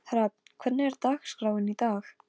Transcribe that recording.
Honum var alveg hætt að lítast á blikuna.